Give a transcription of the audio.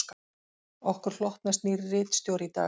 Okkur hlotnast nýr ritstjóri í dag